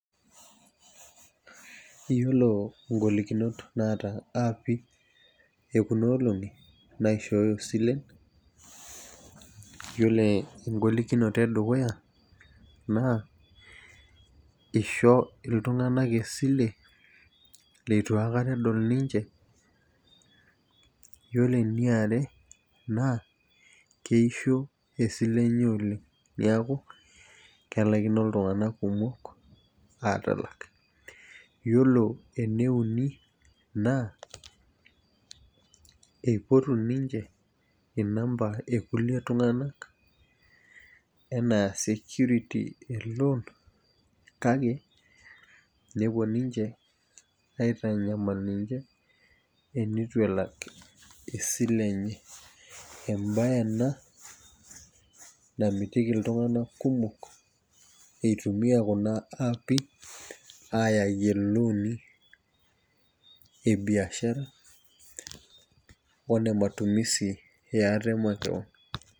Iyiolo ng'olikunot naata aapik ekuna olong'i naa kishooyo silent. iyiolo egolikinoto edukuya, naa isho iltunganak esile, leitu aikata edol ninche. iyiolo eniare naa, ekeisho esile enye oleng neeku, kelaikino iltunganak kumok aatalak. iyiolo eneuni, naa eipotu ninche inamba ekulie tunganak anaa security e loan kake, nepuo ninche aitayu inyamalitin, eneitu elak esile enye. ebae ena, namitiki iltunganak kumok itumia kuna aapi aayayie ilooni ebiashara one matumisi, yeate makewon.